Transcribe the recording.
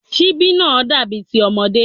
Síbí náà dàbí ti ọmọdé